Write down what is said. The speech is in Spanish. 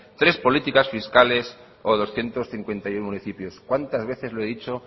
tres políticas fiscales o doscientos cincuenta y uno municipios cuántas veces lo he dicho